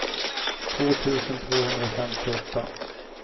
två tusen tvåhundrafemtioåtta